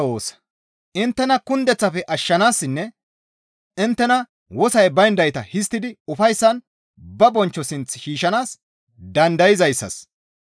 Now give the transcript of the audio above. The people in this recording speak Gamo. Inttena kundeththafe ashshanaassinne inttena wosoy bayndayta histtidi ufayssan ba bonchcho sinth shiishshanaas dandayzayssas,